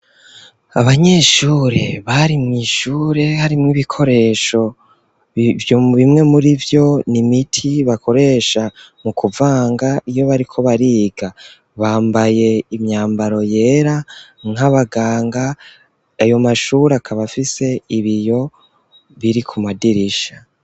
Abanyeshure bari mu ishure hari mu'ibikoresho bimwe muri vyo nimiti bakoresha mu kuvanga iyo bariko bariga bambaye imyambaro yera nk'abaganga ayo mashuri akaba afise ibiyo biri ku madirisha.